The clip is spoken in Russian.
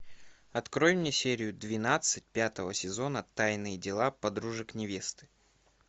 открой мне серию двенадцать пятого сезона тайные дела подружек невесты